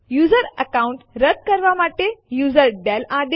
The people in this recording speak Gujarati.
યુઝર એકાઉન્ટ રદ કરવા માટે યુઝરડેલ આદેશ